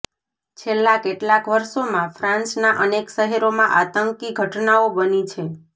છેલ્લાં કેટલાંક વર્ષોમાં ફ્રાન્સના અનેક શહેરોમાં આતંકી ઘટનાઓ બની છે